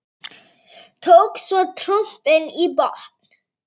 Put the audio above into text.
Tók svo trompin í botn.